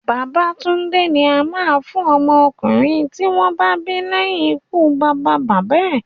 Babatúndé ni a máa ń fún ọmọ ọkùnrin tí wọ́n bá bí leyin ikú bàbá bàbá ẹ̀